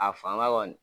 A fanga kɔni